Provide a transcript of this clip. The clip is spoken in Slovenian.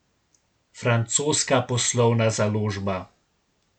Francoska poslovna založba.